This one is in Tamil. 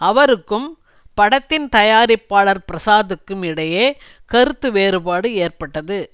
அவருக்கும் படத்தின் தயாரிப்பாளர் பிரசாத்துக்கும் இடையே கருத்து வேறுபாடு ஏற்பட்டது